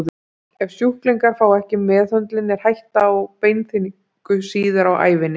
Ef sjúklingar fá ekki meðhöndlun er hætta á beinþynningu síðar á ævinni.